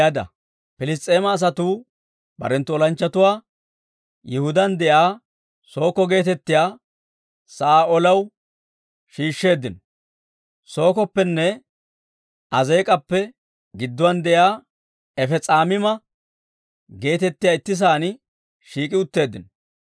Piliss's'eema asatuu barenttu olanchchatuwaa Yihudaan de'iyaa Sookko geetettiyaa sa'aa olaw shiishsheeddino; Sookoppenne Azeek'appe gidduwaan de'iyaa Efess's'amiima geetettiyaa itti sa'aan shiik'i utteeddino.